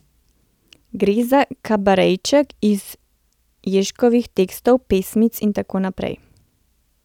Gre za kabarejček iz Ježkovih tekstov, pesmic in tako naprej.